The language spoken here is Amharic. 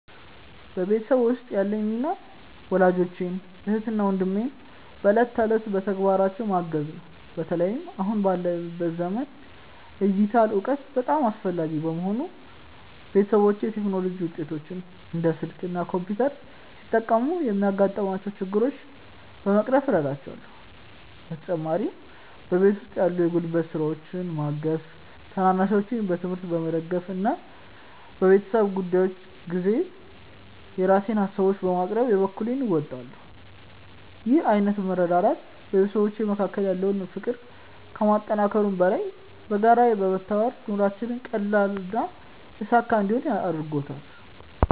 በቤተሰቤ ውስጥ ያለኝ ሚና ወላጆቼን፣ እህትና ወንድሜን በዕለት ተዕለት ተግባራቸው ማገዝ ነው። በተለይም አሁን ባለንበት ዘመን የዲጂታል እውቀት አስፈላጊ በመሆኑ፣ ቤተሰቦቼ የቴክኖሎጂ ውጤቶችን (እንደ ስልክ እና ኮምፒውተር) ሲጠቀሙ የሚያጋጥሟቸውን ችግሮች በመቅረፍ እረዳቸዋለሁ። በተጨማሪም በቤት ውስጥ ያሉ የጉልበት ስራዎችን በማገዝ፣ ታናናሾቼን በትምህርታቸው በመደገፍ እና በቤተሰብ ጉዳዮች ጊዜ የራሴን ሃሳቦችን በማቅረብ የበኩሌን እወጣለሁ። ይህ ዓይነቱ መረዳዳት በቤተሰባችን መካከል ያለውን ፍቅር ከማጠናከሩም በላይ፣ በጋራ በመተባበር ኑሯችንን ቀላልና የተሳካ እንዲሆን አድርጎታል።